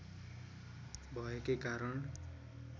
भएकै कारण